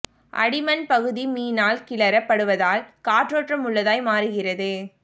அடி மண் பகுதி மீனால் கிளறப்படுவதால் காற்றோட்டம் உள்ளதாய் மாறுகிறது